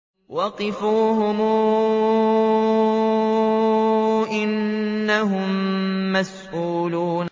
وَقِفُوهُمْ ۖ إِنَّهُم مَّسْئُولُونَ